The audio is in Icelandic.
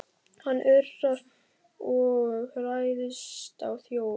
Hann urrar og ræðst á þjófinn.